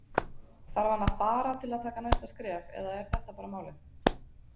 Þarf hann að fara til að taka næsta skref eða er þetta bara málið?